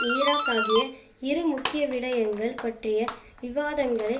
Iraq ஆகிய இரு முக்கிய விடயங்கள் பற்றிய விவாதங்களை